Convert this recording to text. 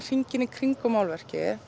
hringinn í kringum málverkið er